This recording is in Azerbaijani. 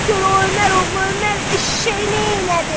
Gör o Ömər oğlu Ömər eşşək neynədi!